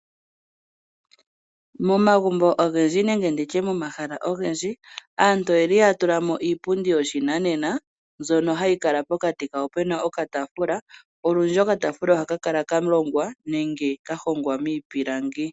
Momagumbo ogendji nenge ndiye momahala ogendji aantu oyeli ya tulamo iipundi yopa shinanena mbyono hayi kala pokati pena oka taafula. Okataafula ohaka kala kalongwa nenge kalongwa miipilangi.